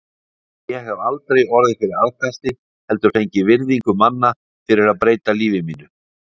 Ég hef aldrei orðið fyrir aðkasti, heldur fengið virðingu manna fyrir að breyta lífi mínu.